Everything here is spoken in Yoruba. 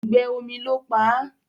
òùngbẹ omí ló pá.